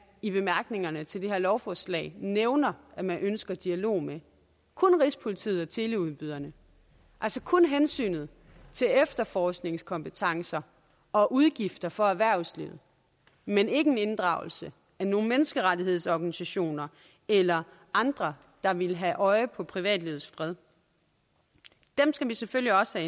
i bemærkningerne til det her lovforslag nævner at man ønsker dialog med kun rigspolitiet og teleudbyderne altså kun hensynet til efterforskningskompetencer og udgifter for erhvervslivet men ikke en inddragelse af nogle menneskerettighedsorganisationer eller andre der ville have et øje på privatlivets fred dem skal vi selvfølgelig også